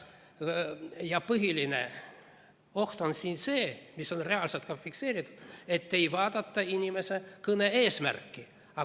Põhiline oht on see, mis on reaalselt ka fikseeritud, et ei vaadata inimese kõne eesmärki.